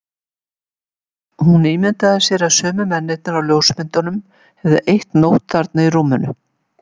Hún ímyndaði sér að sumir mennirnir á ljósmyndunum hefðu eytt nótt þarna í rúminu.